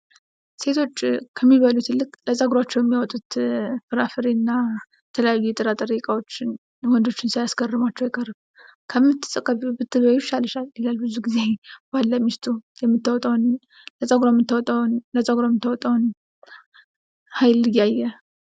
ሴቶች ከሚበሉት ይልቅ ለፀጉራቸው የሚያወጡት ፍራፍሬና የተለያዩ የጥራጥሬ እቃዎችን ወንዶችን ሳያስገርማቸው አይቀርም ። ከምትቀቢው ብትበይው ይሻልሻል ይላሉ ብዙ ጊዜ ባል ለሚስቱ ለፀጉሯ የምታወጣውን ሀይል እያየ